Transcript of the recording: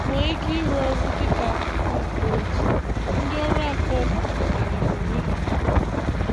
Nwee ike ịrụ ọrụ dịka akụkụ nke otu ndị ọrụ afọ ofufo kpaliri onwe ha.